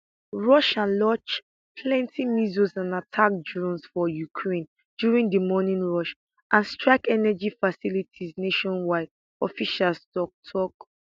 russia launch plenti missiles and attack drones for ukraine during di morning rush and strike energy facilities nationwide officials tok tok